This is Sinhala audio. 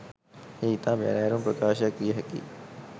එය ඉතා බැරෑරුම් ප්‍රකාශයක් විය හැකි